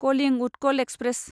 Kalinga Utkal express